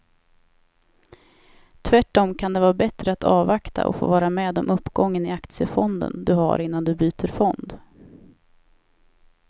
Tvärtom kan det vara bättre att avvakta och få vara med om uppgången i aktiefonden du har innan du byter fond.